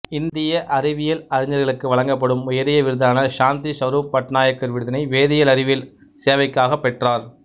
இந்திய அறிவியல் அறிஞர்களுக்கு வழங்கப்படும் உயரிய விருதான சாந்தி ஸ்வரூப் பட்நாகர் விருதினை வேதியியல் அறிவியல் சேவைக்காப் பெற்றார்